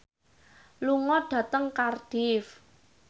lunga dhateng Cardiff